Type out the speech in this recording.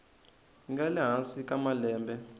nga le hansi ka malembe